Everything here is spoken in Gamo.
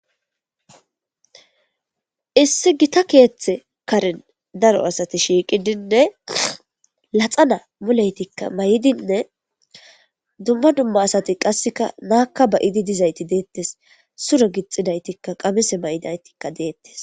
issi gita keeththe karen daro asati shiiqidinne laxana mulaytikka may7dinne dumma dumma asati qasseka naakka ba idi dizayti deettes suro gixxinaytikka qamese may7idaytikka deettes